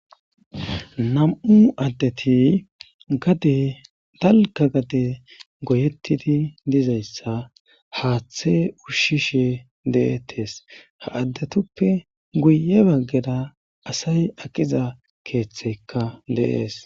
Nam7u addeti detalka gade goyettidi dizayssa haaththe ushshishe deettes ha addetuppe guye baggeda asay aqiza keeththeykka deees.